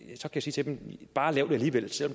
jeg så sige til dem bare lav det alligevel selv